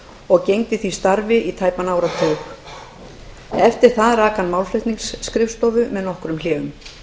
og gegndi því starfi í tæpan áratug eftir það rak hann málflutningsskrifstofu með nokkrum hléum